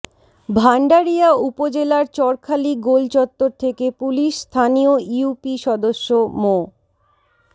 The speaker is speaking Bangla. ভাণ্ডারিয়া উপজেলার চরখালী গোল চত্বর থেকে পুলিশ স্থানীয় ইউপি সদস্য মো